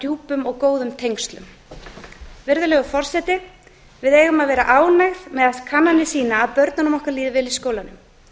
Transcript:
djúpum og góðum tengslum virðulegur forseti við eigum að vera ánægð meðan kannanir sýna að börnunum okkar líður vel í skólanum